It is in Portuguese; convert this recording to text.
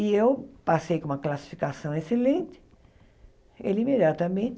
E eu passei com uma classificação excelente, ele imediatamente